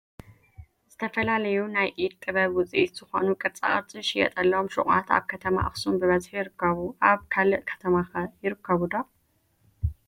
ዝተፈላለዩ ናይ ኢድ ጥበብ ውፅኢ ዝኾኑ ቅርፃ ቅርፂ ዝሽየጡሎም ሹቋት ኣብ ከተማ ኣኽሱም ብብዝሒ ይርከቡ እዮም፡፡ ኣብ ካልእ ከተማ ከ ይርከቡ ዶ?